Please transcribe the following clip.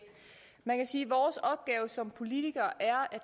man kan sige at vores opgave som politikere er